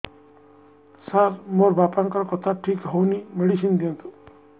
ସାର ମୋର ବାପାଙ୍କର କଥା ଠିକ ହଉନି ମେଡିସିନ ଦିଅନ୍ତୁ